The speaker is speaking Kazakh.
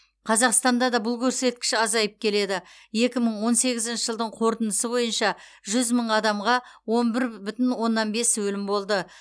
қазақстанда да бұл көрсеткіш азайып келеді екі мың он сегізінші жылдың қорытынысы бойынша жүз мың адамға он бір бүтін оннан бес өлім болды